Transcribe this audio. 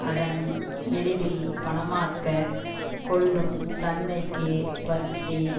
அதன் எளிதில் பணமாக்க கொள்ளும் தன்மைக்கு பற்றி